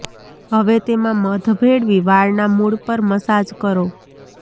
હવે તેમાં મધ ભેળવી વાળના મુળ પર મસાજ કરો